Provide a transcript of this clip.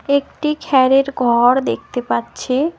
একটি খ্যারের ঘর দেখতে পাচ্ছি।